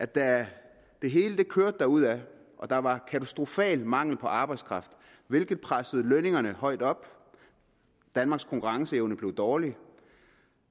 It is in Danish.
da det hele kørte derudad og der var en katastrofal mangel på arbejdskraft hvilket pressede lønningerne højt op og gjorde at danmarks konkurrenceevne blev dårlig